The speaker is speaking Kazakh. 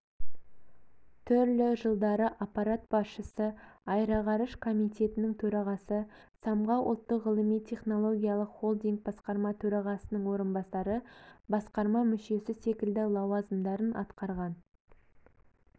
түрлі жылдары аппарат басшысы аэроғарыш комитетінің төрағасы самғау ұлттық ғылыми-технологиялық холдинг басқарма төрағасының орынбасары басқарма мүшесі секілді лауазымдарын атқарған